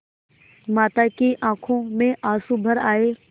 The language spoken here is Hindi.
माता की आँखों में आँसू भर आये